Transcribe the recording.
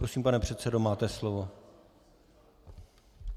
Prosím, pane předsedo, máte slovo.